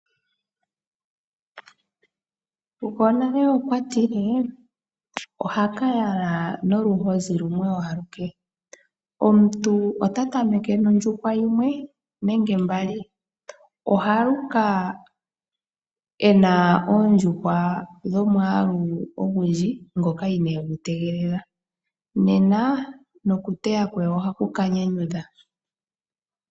Gwonale okwa tile, oha ka yala noluhozi lumwe aluke I . Omuntu ota tameke nondjuhwa yimwe nenge mbali, ohaluka e na oondjuhwa dhomwaalu ogundji ngoka inee tegelela, nena nokuteya kwe oha ku ka nyanyudha.